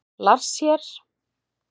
Lars hér!